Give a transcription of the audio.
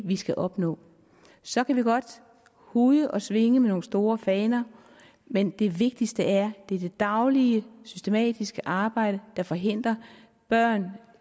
vi skal opnå så kan vi godt huje og svinge med nogle store faner men det vigtigste er det daglige systematiske arbejde der forhindrer at børn